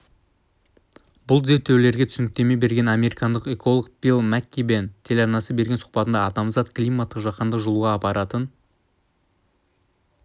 бұл зерттеулерге түсініктеме берген американдық эколог билл маккиббен телеарнасына берген сұхбатында адамзат климаттың жаһандық жылуға апаратын